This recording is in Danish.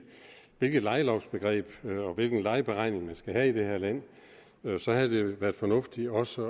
hvilket lejelovsbegreb og hvilken lejeberegning man skal have i det her land havde det været fornuftigt også